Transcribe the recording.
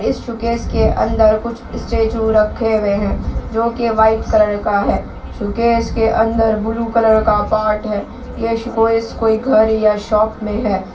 इस शोकेस के अंदर कुछ स्टेचू रखे हुए हैं जो की वाइट कलर का है शोकेस के अंदर बूलू कलर का पार्ट है यह शोकेस कोई घर या शॉप में है।